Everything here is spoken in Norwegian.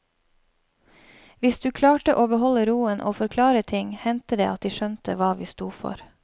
Hvis du klarte å beholde roen og forklare ting, hendte det at de skjønte hva vi sto for.